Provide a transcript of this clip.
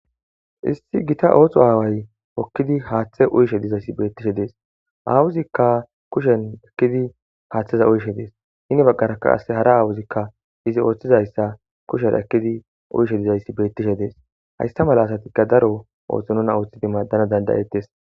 Issi gita oohtho aaway okkidi haaththe uyishe dizayssi beettishe dees aawuzikka kushen ekkidi haaththeza uyshe dees hini baggarakka ase hara aawuzikka izi ooththizayssa kusher ekkidi uyishe dizayssi beettishe dees haysta mala asatikka daro ooththo nuna ooththidi maaddana dandayettes.